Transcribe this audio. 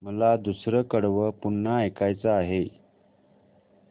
मला दुसरं कडवं पुन्हा ऐकायचं आहे